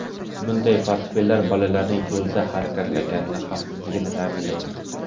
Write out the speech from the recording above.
Bunday portfellar bolalarning yo‘lda harakatlanganida xavfsizligini ta’minlaydi.